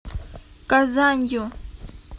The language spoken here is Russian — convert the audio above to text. казанью